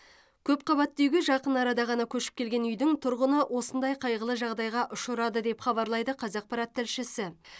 көпқабатты үйге жақын арада ғана көшіп келген үйдің тұрғыны осындай қайғылы жағдайға ұшырады деп хабарлайды қазақпарат тілшісі